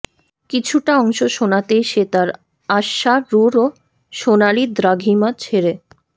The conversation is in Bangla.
কিছুটা অংশ শোনাতেই সে তার অশ্বারূঢ় সোনালি দ্রাঘিমা ছেড়ে